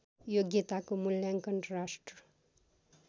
योग्यताको मूल्याङ्कन राष्ट्र